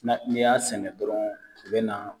N'i y'a sɛnɛ dɔrɔn i bɛ na